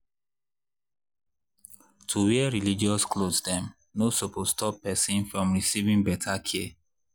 to wear religious cloths dem no suppose stop person from receiving better care